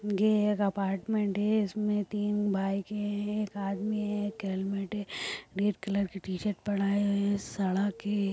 ये एक अपार्टमेंट है इसमे तीन बाइक है एक आदमी है एक हेलमेट है रेड कलर की टी शर्ट पड़ा है सड़क है।